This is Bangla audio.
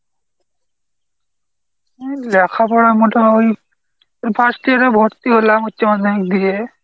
এই লেখাপড়া মোটে হই first year এ ভর্তি হলাম উচ্চ মাধ্যমিক দিয়ে।